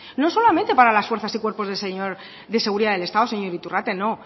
no solamente para las fuerzas y cuerpos de seguridad del estado señor iturrate